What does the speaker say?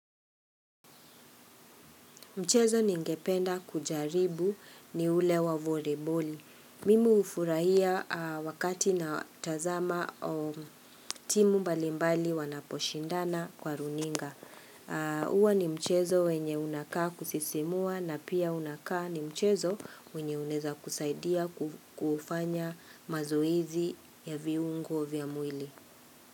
Mchezo ningependa kujaribu ni ule wa voliboli. Mimi hufurahia wakati natazama timu mbalimbali wanaposhindana kwa runinga. Huwa ni mchezo wenye unakaa kusisimua na pia unakaa ni mchezo wenye unaeza kusaidia kufanya mazoezi ya viungo vya mwili.